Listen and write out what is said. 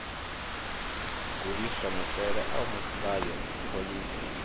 gudiswa maitele a mulayo phoḽisi